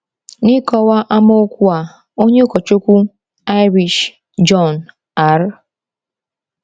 N’ịkọwa amaokwu a, onye ụkọchukwu Irish John R.